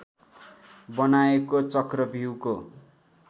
बनाएको चक्रव्यूहको